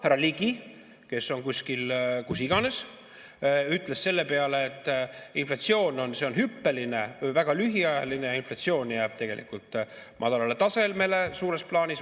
Härra Ligi, kes on kuskil kus iganes, ütles selle peale, et inflatsioon on hüppeline, väga lühiajaline, inflatsioon jääb tegelikult madalale tasemele suures plaanis.